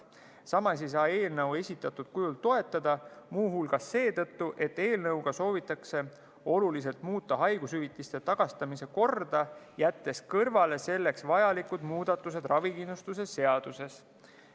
Samas ei saa eelnõu esitatud kujul toetada, muu hulgas seetõttu, et eelnõuga soovitakse oluliselt muuta haigushüvitiste tagastamise korda, jättes kõrvale selleks vajalikud muudatused ravikindlustuse seaduses.